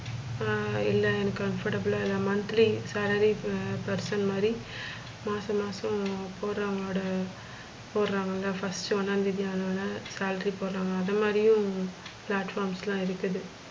ஆஹ் இல்ல எனக்கு comfortable ல இல்ல monthlysalary இப்ப person மாதிரி மாசம் மாசம் போடுறவங்களோட போடுறாங்கள first ஒண்ணாந்தேதி ஆனோன salary போடுறாங்கள அத மாதிரியும் platforms லா இருக்குது